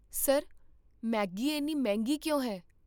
Sir, Maggi ਇੰਨੀ ਮਹਿੰਗੀ ਕਿਉਂ ਹੈ?